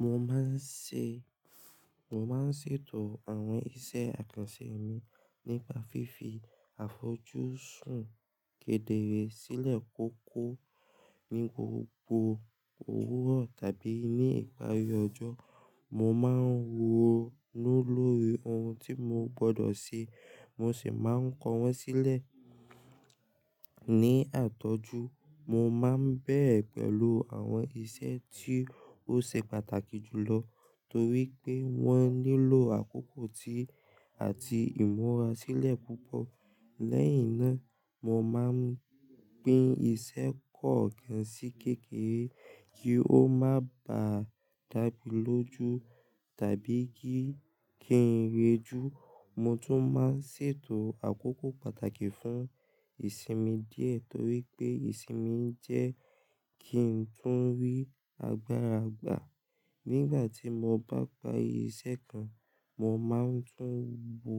Mo máa ń ṣe, mo máa ń ṣètò àwọn iṣẹ́ àkànṣe mi nípa fífi àfojúsùn kedere sílẹ̀ kókó ní gbogbo òwúrọ̀ tàbí ní ìparí ọjọ́. Mo máa ń wò lórí ohun tí mo gbọdọ̀ ṣe, mo sì máa ń kọ wọ́n sílẹ̀. Ni àtọ́jú, mo máa ń bẹ̀rẹ̀ pẹ̀lú àwọn iṣẹ́ tí ó ṣe pàtàkì jùlọ torí pé wọ́n nílò àkókò ti àti ìmọ̀ra sílẹ̀ púpọ̀. Leyin na mo maa n pin ise po gan si kekere ki o ma ba damiloju tabi kin reju. Mo tún máa ń ṣètò àkókò pàtàkì fún ìsinmi díẹ̀ torí pé ìsinmi jẹ́ kí n tún rí agbára gbà. Nígbà tí mo bá parí iṣẹ́ kan, mo máa tún bo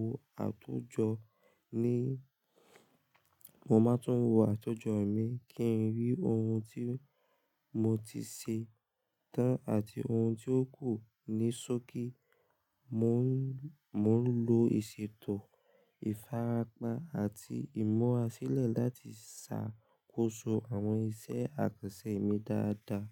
àtójọ ní, mo máa tún wo àtójọ mi kí n rí ohun tí mo ti ṣe tán àti ohun tí ò kú ní ṣókí. Mo ń, mo ń lo ìṣètò, ìfarapa àti ìmura sílẹ̀ láti ṣàkóso àwọn iṣẹ́ àkànṣe mi dáadáa.